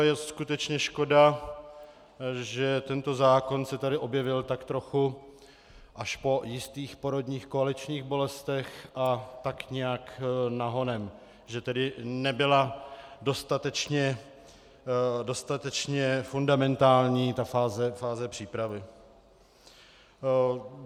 A je skutečně škoda, že tento zákon se tady objevil tak trochu až po jistých porodních koaličních bolestech a tak nějak nahonem, že tedy nebyla dostatečně fundamentální ta fáze přípravy.